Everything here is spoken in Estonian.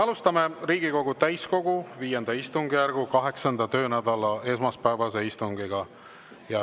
Alustame Riigikogu täiskogu V istungjärgu 8. töönädala esmaspäevast istungit.